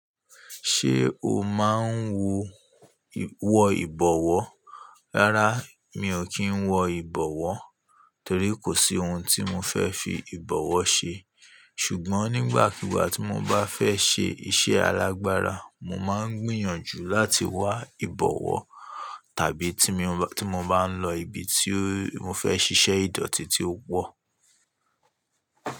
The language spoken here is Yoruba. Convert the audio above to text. Ṣé o máa ń wo wọ ìbọ̀wọ́? Rárá mi ò kí ń wọ ìbọ̀wọ́ torí kò sí ohun tí mo fẹ́ fi ìbọ̀wọ́ ṣe. Ṣùgbọ́n nígbàkigbà tí mo bá fẹ́ ṣe iṣẹ́ alágbára, mo máa ń gbìyànjú láti wá ìbọ̀wọ́ tàbí tí mo bá ń lọ ibi tí mo fẹ́ ṣiṣẹ́ ìdọ̀tí tí ó pọ̀.